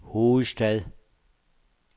hovedstad